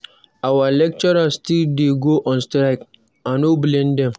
Our lecturers still dey go on strike? I no blame dem